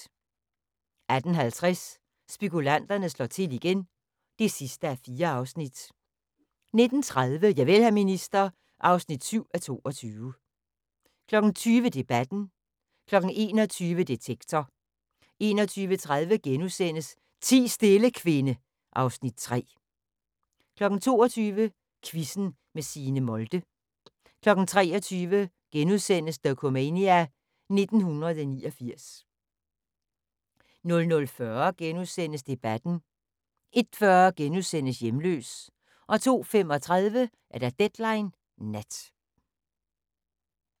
18:50: Spekulanterne slår til igen (4:4) 19:30: Javel, hr. minister (7:22) 20:00: Debatten 21:00: Detektor 21:30: Ti stille, kvinde (Afs. 3)* 22:00: Quizzen med Signe Molde 23:00: Dokumania: 1989 * 00:40: Debatten * 01:40: Hjemløs * 02:35: Deadline Nat